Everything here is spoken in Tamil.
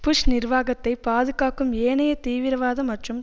புஷ் நிர்வாகத்தை பாதுகாக்கும் ஏனைய தீவிரவாத மற்றும்